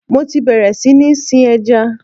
Mo ti bẹ̀rẹ̀ sí ní sin ẹja.